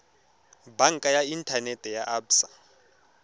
banka ya inthanete ya absa